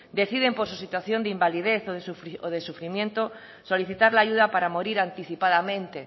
deciden por su situación de invalidez o de sufrimiento solicitar la ayuda para morir anticipadamente